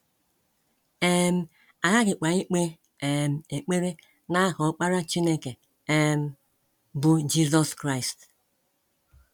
um A ghaghịkwa ikpe um ekpere n’aha Ọkpara Chineke um, bụ́ Jizọs Kraịst.